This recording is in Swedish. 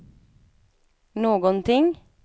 någonting